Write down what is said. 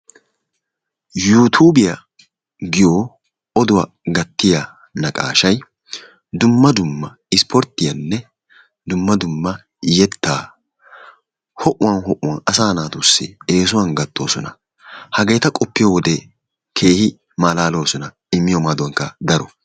"Yuuttuubiya" giyo oduwa gattiyaa naqaashay dumma dumma ispporttiyanne dumma dumma yettaa ho"uwan ho"uwan asaa naatussi eesuwan gattoosona. Hageeta qoppiyoo wodee keehin maalaloosona. Immiyoo maaduwankka daro.